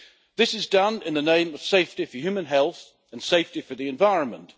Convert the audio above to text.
This is done in the name of safety for human health and safety for the environment.